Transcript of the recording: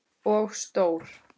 Og stór.